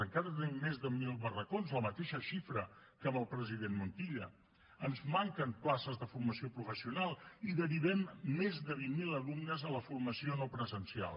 encara tenim més de mil barracons la mateixa xifra que amb el president montilla ens manquen places de formació professional i derivem més de vint mil alumnes a la formació no presencial